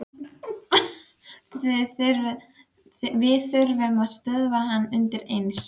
Við þurfum að stöðva hann undireins.